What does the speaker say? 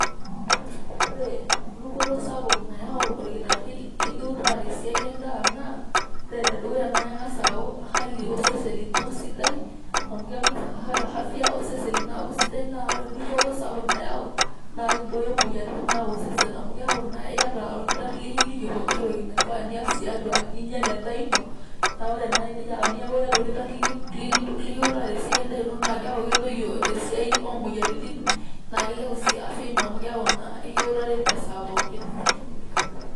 Ore dupoto sapuk nayau orkitari likiutaa te siai endaa naa ore ene dukuya naa kengas au hali osesen lino esidai . amu kengas afya osesen lino aku sidai naa ore dupoto sapuk nayau naa kibooyo moyiaritin naimu osesen amu keaku naa iyata orkitari likiliki pooki toki naifaa nias tiatua ninya te endaa ino . na ore naa tinaku iata olkitari likiutaa tesiai endaa ino naa keaku kedoyio esiai omoyiaritin na kilepu sii afya ino amu keaku naa ekiutari esaa pookin.